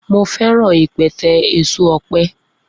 Mo feran ipẹtẹ eso ọpẹ.